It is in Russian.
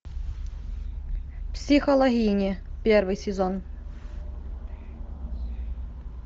психологини первый сезон